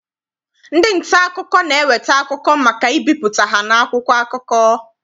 Ndị nta akụkọ na-eweta akụkọ maka ibipụta ha n'akwụkwọ akụkọ.